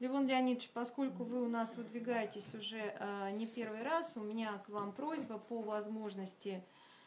левон леонидович поскольку вы у нас выдвигаетесь уже не первый раз у меня к вам просьба по возможности